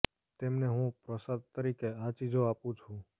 તેમને હું પ્રસાદ તરીકે આ ચીજો આપું છું